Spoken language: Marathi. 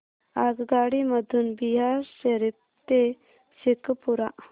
आगगाडी मधून बिहार शरीफ ते शेखपुरा